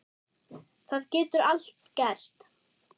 Það getur allt gerst.